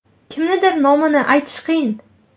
Kimnidir nomini aytish qiyin.